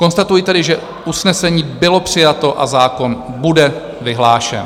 Konstatuji tedy, že usnesení bylo přijato a zákon bude vyhlášen.